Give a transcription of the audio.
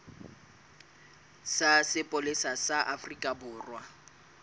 sa sepolesa sa afrika borwa